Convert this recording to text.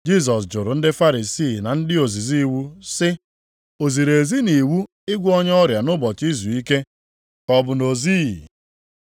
Jisọs jụrụ ndị Farisii na ndị ozizi iwu sị, “O ziri ezi nʼiwu ịgwọ ọrịa nʼụbọchị izuike ka ọ bụ na o zighị?”